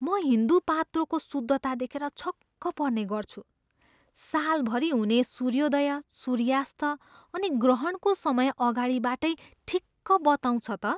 म हिन्दू पात्रोको शुद्धता देखेर छक्क पर्ने गर्छु। सालभरि हुने सूर्योदय, सूर्यास्त अनि ग्रहणको समय अगाडिबाटै ठिक्क बताउँछ त!